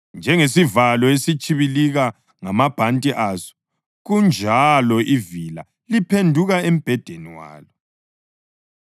Njengesivalo esitshibilika ngamabhanti aso kanjalo ivila liphenduka embhedeni walo.